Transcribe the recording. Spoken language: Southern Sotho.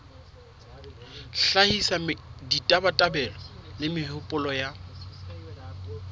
hlahisa ditabatabelo le mehopolo ya